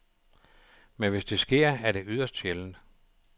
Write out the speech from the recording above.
Men hvis det sker, er det yderst sjældent.